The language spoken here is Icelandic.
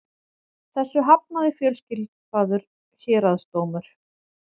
Þessu hafnaði fjölskipaður héraðsdómur